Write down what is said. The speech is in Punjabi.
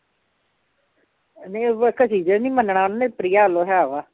ਨਹੀਂ ਨੀ ਮੰਨਣਾ ਉਹਨੇ ਪ੍ਰਿਆ ਵੱਲੋਂ ਹੈ ਵਾ